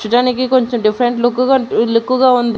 చూడ్డానికి కొంచెం different look గా లుక్కు గా ఉంది.